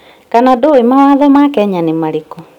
Kana ndũũĩ mawatho ma Kenya ni marĩkũ?